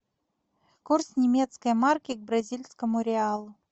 курс немецкой марки к бразильскому реалу